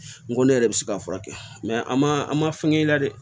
N ko ne yɛrɛ bɛ se k'a furakɛ an ma an ma fɛnkɛ i la dɛ